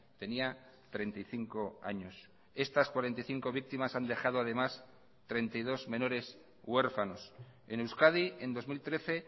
tenía treinta y cinco años estas cuarenta y cinco víctimas han dejado además treinta y dos menores huérfanos en euskadi en dos mil trece